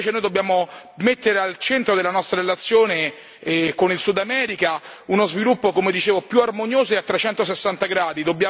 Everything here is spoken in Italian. Invece noi dobbiamo mettere al centro della nostra relazione con il Sud America uno sviluppo come dicevo più armonioso e a 360 gradi.